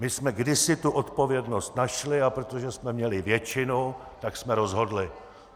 My jsme kdysi tu odpovědnost našli, a protože jsme měli většinu, tak jsme rozhodli.